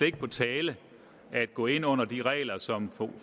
ikke på tale at gå ind under de regler som